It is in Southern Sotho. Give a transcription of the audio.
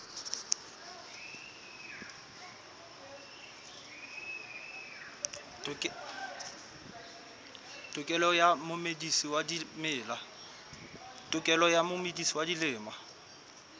tokelo ya momedisi wa dimela